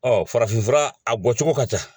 farafinfura a bɔ cogo ka ca.